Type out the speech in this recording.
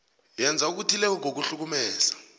yenza okuthileko ngokuhlukumeza